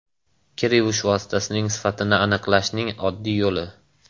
Kir yuvish vositasining sifatini aniqlashning oddiy yo‘li.